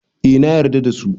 Eh nayar da dasu